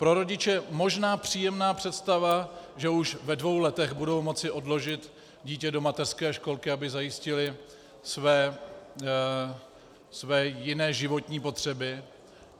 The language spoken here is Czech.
Pro rodiče možná příjemná představa, že už ve dvou letech budou moci odložit dítě do mateřské školky, aby zajistili své jiné životní potřeby.